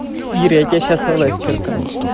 ира я тебе сейчас в личные сообщения напишу